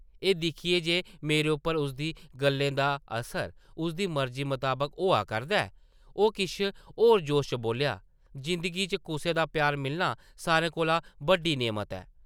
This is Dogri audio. एह् दिक्खियै जे मेरे उप्पर उसदी गल्लें दा असर उसदी मर्जी मताबक होआ करदा ऐ, ओह् किश होर जोश च बोल्लेआ, जिंदगी च कुसै दा प्यार मिलना सारें कोला बड्डी नेमत ऐ ।